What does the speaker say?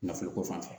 Nafolo ko fan fɛ